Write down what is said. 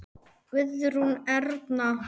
Guðrún Erna.